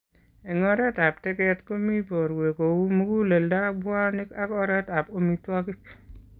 Eng' oriit ab teget komii borwek kouu muguleldo, bwonik ak oret ab omitwogik